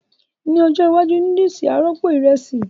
Ní ọjọ́ iwájú, núdùsì á rọ́pò ìrẹsì